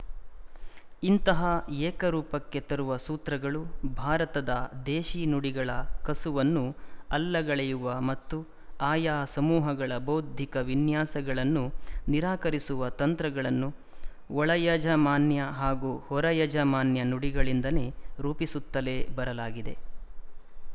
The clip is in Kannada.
ಇಂತಹ ಏಕರೂಪಕ್ಕೆ ತರುವ ಸೂತ್ರಗಳು ಭಾರತದ ದೇಶಿ ನುಡಿಗಳ ಕಸುವನ್ನು ಅಲ್ಲಗಳೆಯುವ ಮತ್ತು ಆಯಾ ಸಮೂಹಗಳ ಬೌದ್ಧಿಕ ವಿನ್ಯಾಸಗಳನ್ನು ನಿರಾಕರಿಸುವ ತಂತ್ರಗಳನ್ನು ಒಳಯಜಮಾನ್ಯ ಹಾಗೂ ಹೊರಯಜಮಾನ್ಯ ನುಡಿಗಳಿಂದ ರೂಪಿಸುತ್ತಲೇ ಬರಲಾಗಿದೆ